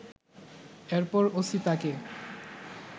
এরপর ওসি তাকে